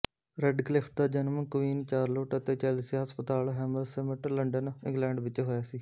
Radcliffe ਦਾ ਜਨਮ Queen Charlotte ਅਤੇ ਚੈਲਸੀਆ ਹਸਪਤਾਲ ਹੈਮਰਸਿਮਟ ਲੰਡਨ ਇੰਗਲੈਂਡ ਵਿਚ ਹੋਇਆ ਸੀ